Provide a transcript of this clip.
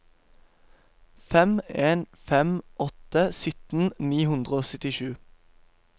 fem en fem åtte sytten ni hundre og syttisju